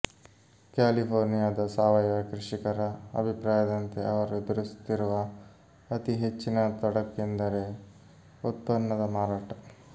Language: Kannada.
ಕ್ಯಾಲಿಫೋರ್ನಿಯಾದ ಸಾವಯವ ಕೃಷಿಕರ ಅಭಿಪ್ರಾಯದಂತೆ ಅವರು ಎದುರಿಸುತ್ತಿರುವ ಅತಿ ಹೆಚ್ಚಿನ ತೊಡಕೆಂದರೆ ಉತ್ಪನ್ನದ ಮಾರಾಟ